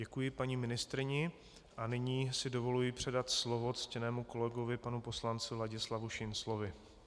Děkuji paní ministryni a nyní si dovoluji předat slovo ctěnému kolegovi panu poslanci Ladislavu Šinclovi.